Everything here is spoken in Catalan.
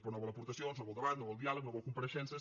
però no vol aportacions no vol debat no vol diàleg no vol compareixences